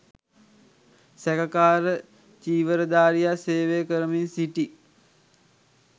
සැකකාර චීවධාරියා සේවය කරමින් සිටි